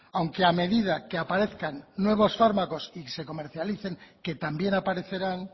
aunque a medida que aparezcan nuevos fármacos y se comercialicen que también aparecerán